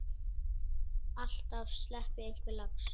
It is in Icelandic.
Alltaf sleppi einhver lax.